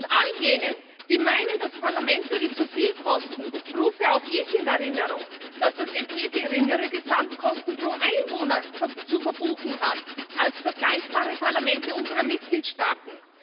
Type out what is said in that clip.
Und all jenen, die meinen, das Parlament würde zu viel kosten, rufe auch ich in Erinnerung, dass das EP geringere Gesamtkosten pro Einwohner zu verbuchen hat als vergleichbare Parlamente unserer Mitgliedstaaten.